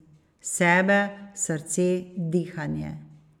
Sebe, srce, dihanje.